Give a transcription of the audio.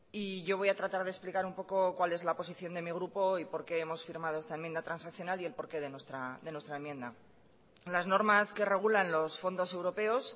y yo voy a tratar de explicar un poco cuál es la posición de mi grupo y por qué hemos firmado esta enmienda transaccional y el porqué de nuestra enmienda las normas que regulan los fondos europeos